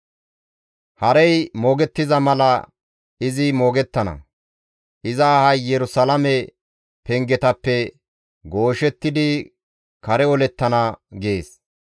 Harey moogettiza mala izi moogettana; Iza ahay Yerusalaame pengetappe gooshettidi kare olettana» gees.